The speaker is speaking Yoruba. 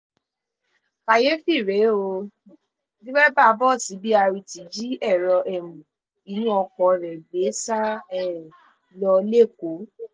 kàyééfì rèé ó dereba bọ́ọ̀sì brt jí èrò um inú ọkọ rẹ̀ gbé sá um lọ lẹ́kọ̀ọ́